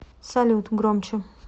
салют громче